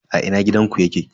A ina gidanku yake?